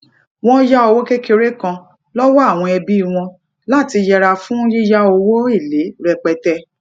wón yá owó kékeré kan lówó àwọn ẹbí wọn lati yera fun yíya owo ele repete